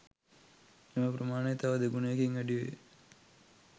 එම ප්‍රමාණය තව දෙගුණයකින් වැඩි වේ